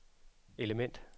element